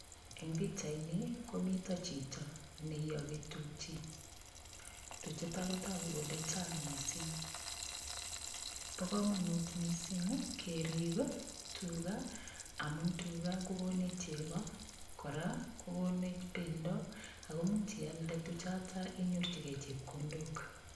Eng pichaini komito chito neiyogi tukchi. Tuchutok kotogu kole chang mising. Bo komonut kerip tuga amun tuga kokonech cheko, kokonech cheko akamuch iald inyorchigei chepkondok.